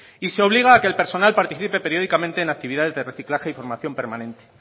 y se obliga a que el personal participe periódicamente en actividades de reciclaje y formación permanente